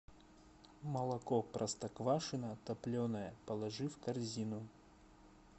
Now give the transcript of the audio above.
молоко простоквашино топленое положи в корзину